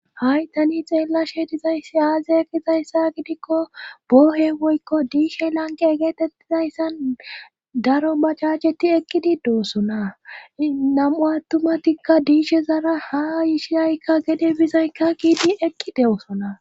ha7i tani xeella she dizayssi aaziaya kizayssa gidikko boohe woykko diishe lanqe egeetettizayssan daro macaceti ekqidi deusonanam7u attumatikka diishe zara haa yiishiyaykka gede bizaykka kiidi eqqi dewusona